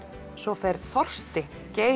svo fer þorsti